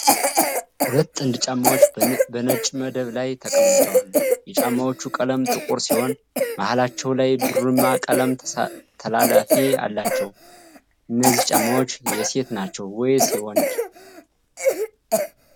ሁለት ጥንድ ጫማዎች በነጭ መደብ ላይ ተቀምጠዋል። የጫማዎቹ ቀለም ጥቁር ሲሆን መሃላቸው ላይ ብርማ ቀለም ተላላፊ አላቸው። እነዚህ ጫማዎች የሴት ናቸው ወይንስ የወንድ?